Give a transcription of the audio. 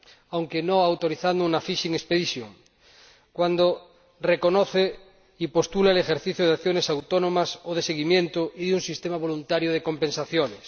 aunque sin autorizar una fishing expedition y cuando reconoce y postula el ejercicio de acciones autónomas o de seguimiento y un sistema voluntario de compensaciones.